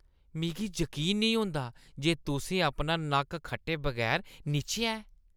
मिगी जकीन नेईं होंदा जे तुसें अपना नक्क खट्टे बगैर निच्छेआ ऐ।